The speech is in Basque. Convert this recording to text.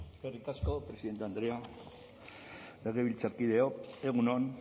zurea da hitza eskerrik asko presidente andrea legebiltzarkideok egun on